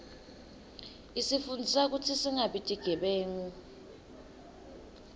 isifundzisa kutsi singabi tigebengu